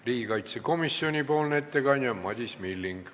Riigikaitsekomisjoni ettekandja on Madis Milling.